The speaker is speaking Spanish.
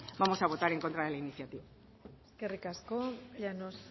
vamos a votar en contra de la iniciativa eskerrik asko llanos